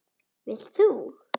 Vilt þú?